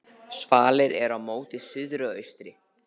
Svalir eru móti suðri og austri.